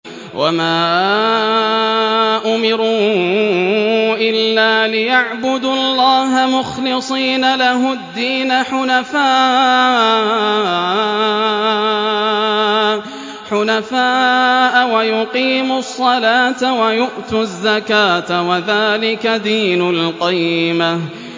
وَمَا أُمِرُوا إِلَّا لِيَعْبُدُوا اللَّهَ مُخْلِصِينَ لَهُ الدِّينَ حُنَفَاءَ وَيُقِيمُوا الصَّلَاةَ وَيُؤْتُوا الزَّكَاةَ ۚ وَذَٰلِكَ دِينُ الْقَيِّمَةِ